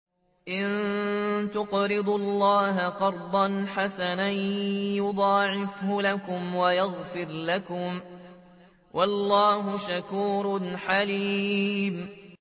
إِن تُقْرِضُوا اللَّهَ قَرْضًا حَسَنًا يُضَاعِفْهُ لَكُمْ وَيَغْفِرْ لَكُمْ ۚ وَاللَّهُ شَكُورٌ حَلِيمٌ